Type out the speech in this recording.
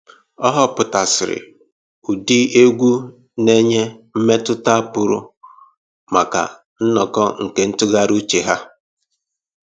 Ọ họpụtasịrị ụdị egwu na-enye mmetụta pụrụ maka nnọkọ nke ntụgharị uche ha